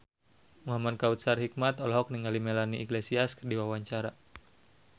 Muhamad Kautsar Hikmat olohok ningali Melanie Iglesias keur diwawancara